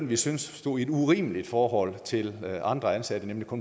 vi syntes stod i et urimeligt forhold til andre ansattes nemlig på